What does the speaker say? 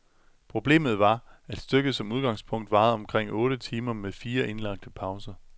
Problemet var, at stykket som udgangspunkt varede omkring otte timer med fire indlagte pauser.